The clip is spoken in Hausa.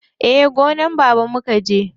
Eh, gonan baba mukaje.